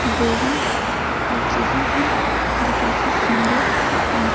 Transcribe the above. Building जो है जो काफी सुंदर है।